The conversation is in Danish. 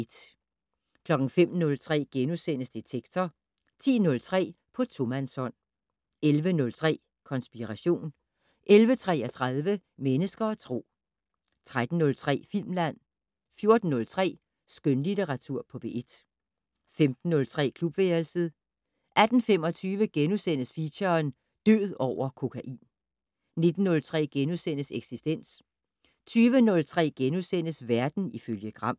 05:03: Detektor * 10:03: På tomandshånd 11:03: Konspiration 11:33: Mennesker og Tro 13:03: Filmland 14:03: Skønlitteratur på P1 15:03: Klubværelset 18:25: Feature: Død over kokain * 19:03: Eksistens * 20:03: Verden ifølge Gram *